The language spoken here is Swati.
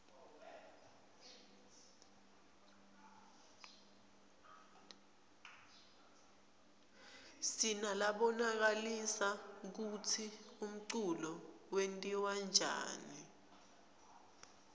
sinalabonisa kutsi umculo wentiwaryani